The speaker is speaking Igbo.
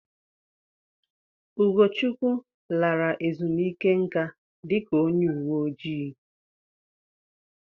Ugochukwu lara ezumike nka dika onye uwe ojii.